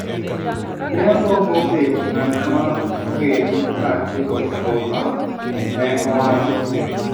ne agombo bet ng'at ma ogen ka atieko somba," ne owacho